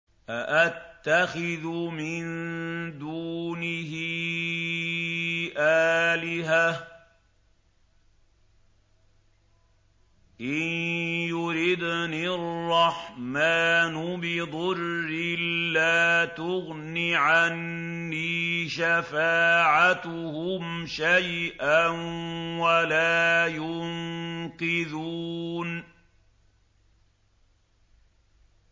أَأَتَّخِذُ مِن دُونِهِ آلِهَةً إِن يُرِدْنِ الرَّحْمَٰنُ بِضُرٍّ لَّا تُغْنِ عَنِّي شَفَاعَتُهُمْ شَيْئًا وَلَا يُنقِذُونِ